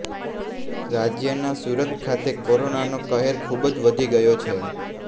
રાજ્યના સુરત ખાતે કોરોનાનો કહેર ખુબ જ વધી ગયો છે